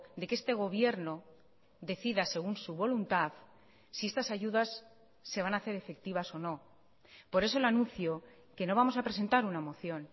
de que este gobierno decida según su voluntad si estas ayudas se van a hacer efectivas o no por eso le anuncio que no vamos a presentar una moción